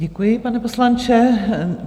Děkuji, pane poslanče.